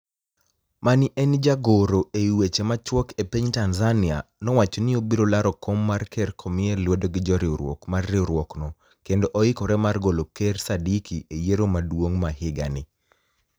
Mani e eni jagoro ewi weche machuok e piniy Tanizaniia nowacho nii obiro laro kom mar ker komiye luedo gi joriwruok mar riwruokno kenido oikore mar golo ker Saadiki e yiero maduonig ma higa nii.